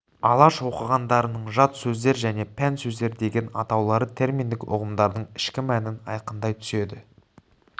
алаш оқығандарының жат сөздер және пән сөздері деген атаулары терминдік ұғымдардың ішкі мәнін айқындай түседі